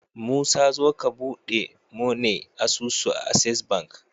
musa zo ka buɗe mune asusu a access bank